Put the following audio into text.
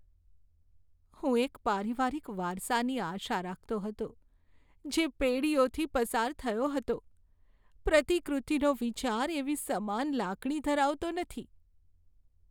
હું એક પારિવારિક વારસાની આશા રાખતો હતો, જે પેઢીઓથી પસાર થયો હતો. પ્રતિકૃતિનો વિચાર એવી સમાન લાગણી ધરાવતો નથી.